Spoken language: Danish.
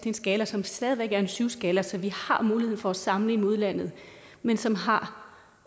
en skala som stadig væk er en syv skala så vi har mulighed for at sammenligne med udlandet men som har